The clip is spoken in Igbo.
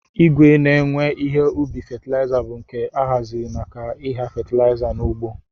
Igwe ne-ewe ihe ubi fatlaiza bu nke ahaziri maka igha fatilaiza n'ugbo.